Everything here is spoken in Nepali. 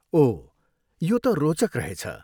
ओह, यो त रोचक रहेछ।